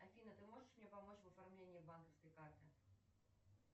афина ты можешь мне помочь в оформлении банковской карты